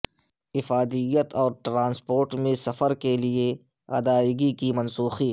افادیت اور ٹرانسپورٹ میں سفر کے لئے ادائیگی کی منسوخی